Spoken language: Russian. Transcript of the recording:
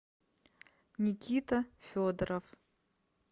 никита федоров